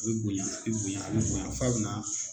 A bi bonya , a bi bonya a bi bonya f'a bi na